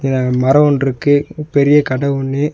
அ மரோ ஒன்றுருக்கு பெரிய கட ஒன்னு.